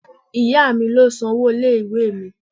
Ìyá mi ló san owó ilé-ìwé mi.